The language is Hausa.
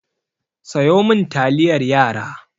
Sayo min taliyar yara!